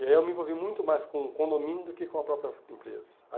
E aí eu me envolvi muito mais com o condomínio do que com a própria empresa.